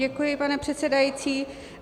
Děkuji, pane předsedající.